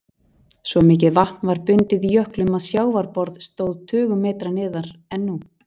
Svo mikið vatn var bundið í jöklum að sjávarborð stóð tugum metra neðar en nú.